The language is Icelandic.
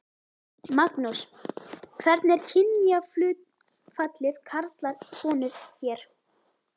Magnús: Hvernig er kynjahlutfallið karlar konur hér?